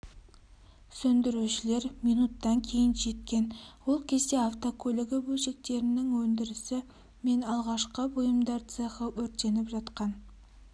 сөндірушілер минуттан кейін жеткен ол кезде автокөлігі бөлшектерінің өндірісі мен ағаш бұйымдар цехы өртеніп жатқан